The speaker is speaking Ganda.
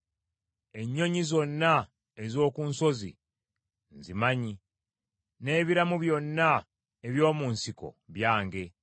Ennyonyi zonna ez’oku nsozi nzimanyi, n’ebiramu byonna eby’omu nsiko byange.